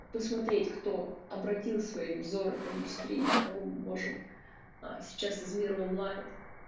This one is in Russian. посмотреть кто обратил свои взоры к индустрии кого мы можем а сейчас из мира онлайн